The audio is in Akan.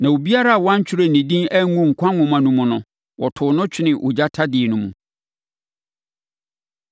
Na obiara a wɔantwerɛ ne din angu nkwa nwoma no mu no, wɔtoo no twenee ogya tadeɛ no mu.